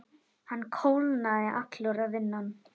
Hann kólnaði allur að innan.